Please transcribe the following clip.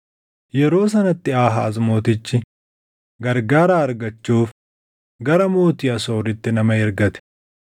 Yeroo sanatti Aahaaz Mootichi gargaaraa argachuuf gara mootii Asooritti nama ergate.